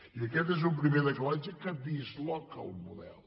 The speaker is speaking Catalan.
i aquest és un primer decalatge que disloca el model